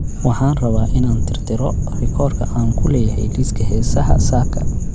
Waxaan rabaa inaan tirtiro rikoorka aan ku leeyahay liiska heesaha saaka